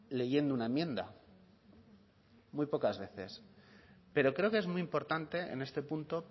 leyendo una enmienda muy pocas veces pero creo que es muy importante en este punto